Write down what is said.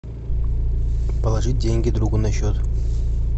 положить деньги другу на счет